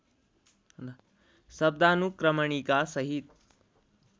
शब्दानुक्रमणिका सहित